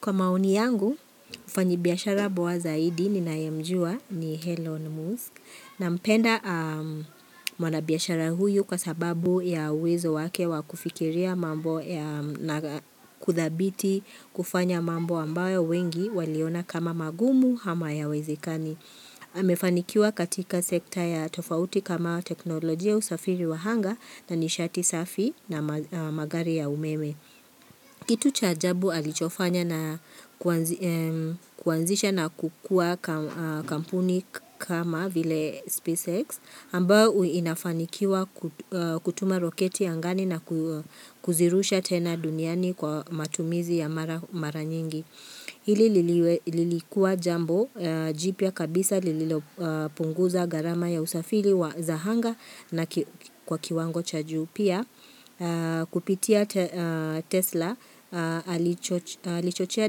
Kwa maoni yangu, mfanyibiashara poa zaidi ninayemjua ni Elon Musk nampenda mwanabiashara huyu kwa sababu ya uwezo wake wa kufikiria mambo na kudhabiti kufanya mambo ambayo wengi waliona kama magumu ama hayawezikani. Ame fanikiwa katika sekta ya tofauti kama teknolojia usafiri wa anga na nishati safi na magari ya umeme. Kitu cha ajabu alichofanya na kuanzisha na kukua kampuni kama vile SpaceX ambyo inafanikiwa kutuma roketi angani na kuzirusha tena duniani kwa matumizi ya mara nyingi. Hili lilikua jambo jipya ya kabisa lililopunguza gharama ya usafili wa za anga na kwa kiwango cha juu pia kupitia Tesla alichochea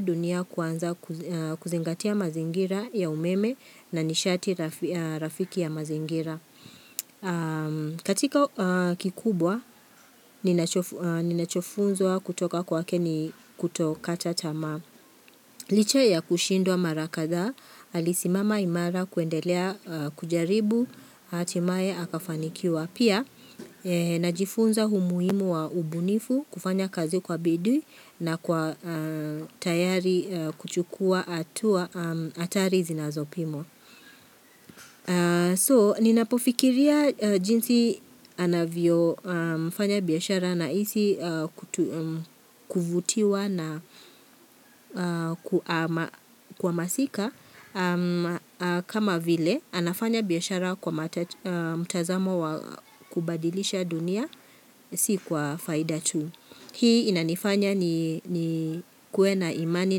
dunia kuanza kuzingatia mazingira ya umeme na nishati rafiki ya mazingira. Katika kikubwa, ninachofunzwa kutoka kwake ni kuto kata tamaa Licha ya kushindwa mara kadhaa, alisimama imara kuendelea kujaribu, hatimae akafanikiwa Pia, najifunza umuhimu wa ubunifu kufanya kazi kwa bidii na kwa tayari kuchukua atari zinazopimwa So ninapofikiria jinsi anavyo mfanya biashara nahisi kuvutiwa na kwa masika kama vile anafanya biashara kwa mtazamo wa kubadilisha dunia si kwa faida tu. Hii inanifanya nikuwe na imani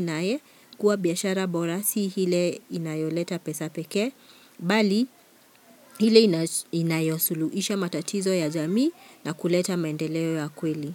naye kuwa biashara bora si ile inayoleta pesa pekee, bali ile inayosuluhisha matatizo ya jamii na kuleta mendeleo ya kweli.